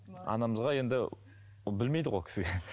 анамызға енді ол білмейді ғой ол кісі